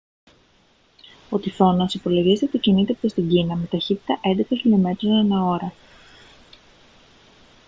ο τυφώνας υπολογίζεται ότι κινείται προς την κίνα με ταχύτητα έντεκα χιλιομέτρων ανά ώρα